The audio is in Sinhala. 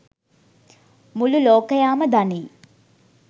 මුළු ළෝකයාම දනී.